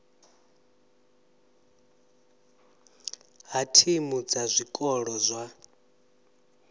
ha thimu dza zwikolo zwa